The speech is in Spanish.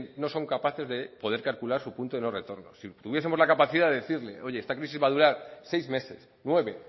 no son capaces de poder calcular su punto de no retorno si tuviesemos la capacidad de decirle oye esta crisis va a durar seis meses nueve